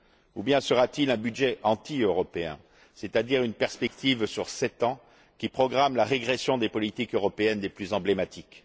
Ou bien sera t il un budget anti européen, c'est à dire une perspective sur sept ans qui programme la régression des politiques européennes les plus emblématiques?